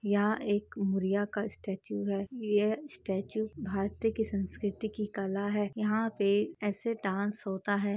यहाँ एक बुढ़िया का स्टेचू है यह स्टेचू भारतीय की संस्कृति की कला है यहाँ पे ऐसे डांस होता है।